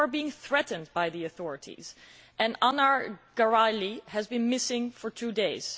people are being threatened by the authorities Anar Gerayli has been missing for two days.